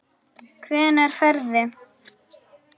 Hvenær ferðu?